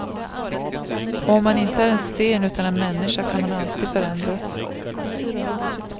Och om man inte är en sten utan en människa kan man alltid förändras.